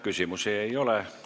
Küsimusi ei ole.